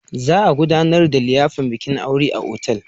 Za a gudanar da liyafar bikin aure a otal.